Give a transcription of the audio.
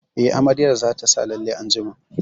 Eh, amaryar za ta sa lalle anjima